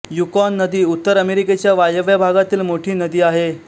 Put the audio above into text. Yukon नदी उत्तर अमेरिकेच्या वायव्य भागातील मोठी नदी आहे